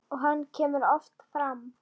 Og hann kemur oft fram.